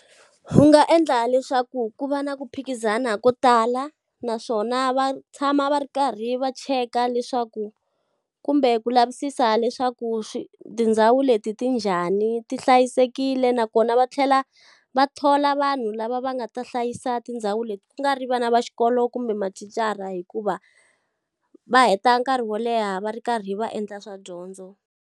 Wu nga endla leswaku ku va na ku phikizana ko tala naswona va tshama va ri karhi va cheka leswaku kumbe ku lavisisa leswaku tindhawu leti ti njhani, ti hlayisekile. Nakona va tlhela va thola vanhu lava va nga ta hlayisa tindhawu leti. Ku nga ri vana va xikolo kumbe mathicara hikuva, va heta nkarhi wo leha va ri karhi va endla swa dyondzo